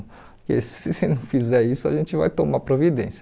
Porque se se ele não fizer isso, a gente vai tomar providência.